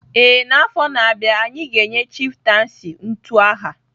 Ee, n'afọ na-abịa anyị ga-enye chieftaincy utu aha